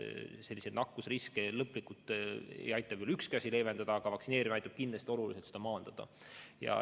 Sellist nakkusriski lõplikult ei aita küll ükski asi kõrvaldada, aga vaktsineerimine aitab kindlasti oluliselt seda vähendada.